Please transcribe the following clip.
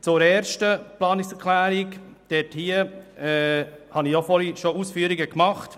Zur ersten Planungserklärung habe ich bereits vorhin einige Ausführungen gemacht.